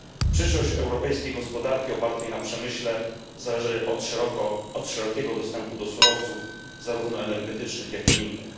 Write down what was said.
Przyszłość europejskiej gospodarki opartej na przemyśle zależy od szerokiego dostępu do surowców, zarówno energetycznych, jak i innych.